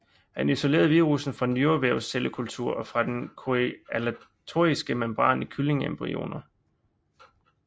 Han isolerede virussen fra nyrevævscellekultur og fra den chorioallantoiske membran i kyllingeembryoner